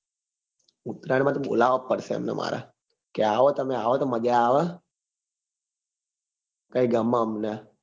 ઉતરાયણ માં તો બોલાવવા જ પડશે એમને મારે કે આવો તમે આવો તો મજા આવે કઈ ગમે અમને